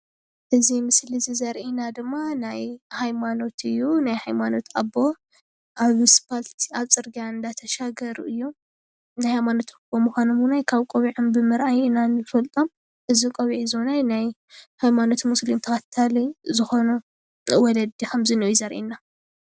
እዚ ምስሊ እዚ ዘሪአና ድማ ናይ ሃይማኖት ኣቦ ኣብ ኣስፓልቲ ፅርግያ እናተሻገሩ ናይ ሃይማኖት ኣቦ ምኳኖም እዉን ካብ ካብ ቆቢዖም ብምርኣይ ኢና ንፈልጦም እዚ ቆቢዕ እዚ እዉን ናይ ሃይማኖት ሙስሊም ተከታሊ ዝኮኑ ወለዲ ከም ዘሎ እዩ ዘሪአና።